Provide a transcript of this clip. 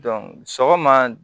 sɔgɔma